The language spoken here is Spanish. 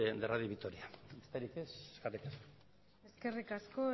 de radio vitoria besterik ez eskerrik asko